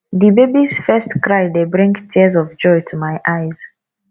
di babys first cry dey bring tears of joy to my eyes